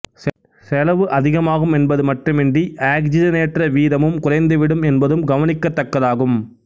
செலவு அதிகமாகும் என்பது மட்டுமின்றி ஆக்சிசனேற்ற வீதமும் குறைந்துவிடும் என்பதும் கவனிக்கத் தக்கது ஆகும்